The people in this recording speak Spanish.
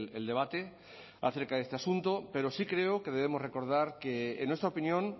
el debate acerca de este asunto pero sí creo que debemos recordar que en nuestra opinión